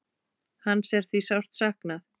Hans er því sárt saknað.